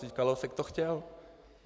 Vždyť Kalousek to chtěl.